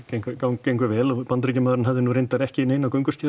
gengu vel og Bandaríkjamaðurinn hafði nú reyndar ekki neina